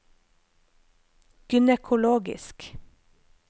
gynekologisk